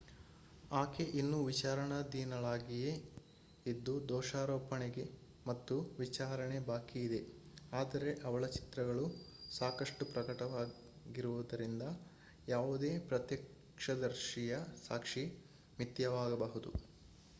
ಆಕೆ ಇನ್ನೂ ವಿಚಾರಣಾಧೀನಳಾಗಿಯೇ ಇದ್ದು ದೋಷಾರೋಪಣೆ ಮತ್ತು ವಿಚಾರಣೆ ಬಾಕಿ ಇದೆ ಆದರೆ ಅವಳ ಚಿತ್ರಗಳು ಸಾಕಷ್ಟು ಪ್ರಕಟವಾಗಿರವುದರಿಂದ ಯಾವುದೇ ಪ್ರತ್ಯಕ್ಷದರ್ಶಿಯ ಸಾಕ್ಷಿ ಮಿಥ್ಯವಾಗಬಹುದು